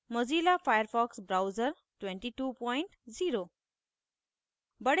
* mozilla firefox browser 220